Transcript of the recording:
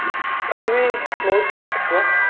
ତମେ ବି ବହୁତ ଶୁଣିଥିବ